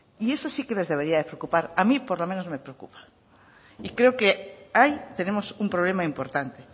y eso sí que les debería de preocupar a mí por lo menos me preocupa creo que ahí tenemos un problema importante